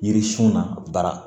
Yiririsun na bara